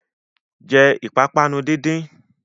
Jẹ́ ìpápánu díndín!